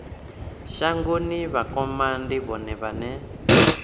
shango vhakoma ndi vhone vhane